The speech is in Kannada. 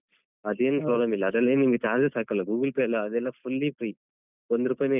ಅದ್ ಏನ್ problem ಇಲ್ಲ ಅದ್ರಲ್ಲೆನ್ ನಿಮ್ಗೆ charges ಹಾಕಲ್ಲ Google Pay ಲ್ಲ ಅದೆಲ್ಲ fully free ಒಂದ್ ರೂಪೈನು